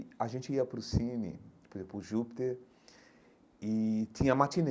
E a gente ia para o cine, por exemplo, para o Júpiter, e tinha matinê.